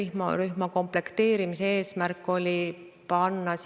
Minu küsimus puudutab 2020. aasta riigieelarvet ja lairibavõrgu viimase miili probleemi lahendamist.